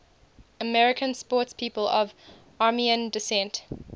american sportspeople of armenian descent